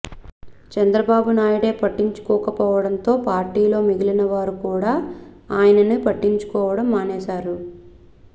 చంద్రబాబు నాయుడే పట్టించుకోకపోవడంతో పార్టీలో మిగిలినవారు కూడా ఆయనని పట్టించుకోవడం మానేశారు